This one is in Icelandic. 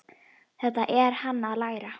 Þetta er hann að læra!